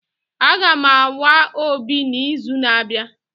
Aga m awa obi n'izu na-abịa